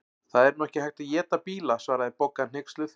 Það er nú ekki hægt að éta bíla svaraði Bogga hneyksluð.